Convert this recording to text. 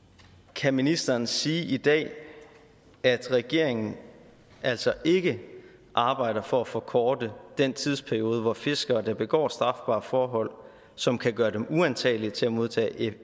kan ministeren sige i dag at regeringen altså ikke arbejder for at forkorte den tidsperiode hvor fiskere der begår strafbare forhold som kan gøre dem uantagelige til at modtage